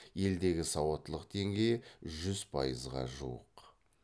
елдегі сауаттылық деңгейі жүз пайызға жуық